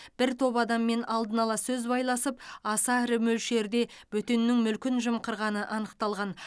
бір топ адаммен алдын ала сөз байласып аса ірі мөлшерде бөтеннің мүлкін жымқырғаны анықталған